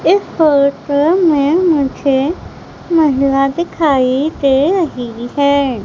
इस फोटो में मुझे महिला दिखाई दे रही है।